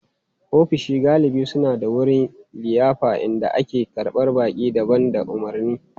Ofisoshi galibi suna da wurin liyafar inda ake karɓar baƙi da ba da umarni.